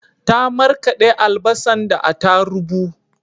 Ta marƙade albasan da atarubu